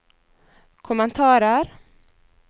kommentarer